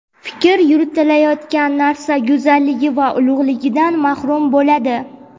fikr yuritilayotgan narsa go‘zalligi va ulug‘ligidan mahrum bo‘ladi.